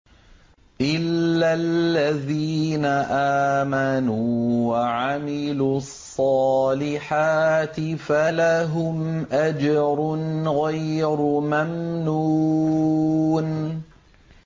إِلَّا الَّذِينَ آمَنُوا وَعَمِلُوا الصَّالِحَاتِ فَلَهُمْ أَجْرٌ غَيْرُ مَمْنُونٍ